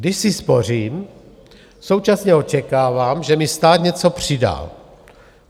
Když si spořím, současně očekávám, že mi stát něco přidá.